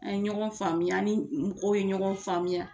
An ye ɲɔgɔn faamuya ni mɔgɔw ye ɲɔgɔn faamuya.